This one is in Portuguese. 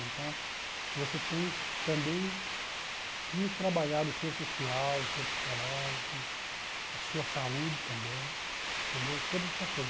Então, você tem também que trabalhar o seu social, o seu psicológico, a sua saúde também, entendeu, todas essas coisas.